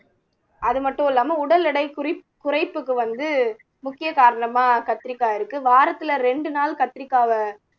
அது மட்டும் இல்லாம உடல் எடை குறிப் குறைப்புக்கு வந்து முக்கிய காரணமா கத்திரிக்காய் இருக்கு வாரத்துல ரெண்டு நாள் கத்திரிக்காய